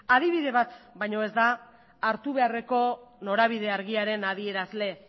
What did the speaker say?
adibide bat baina ez da hartu beharreko norabidea argiaren adierazle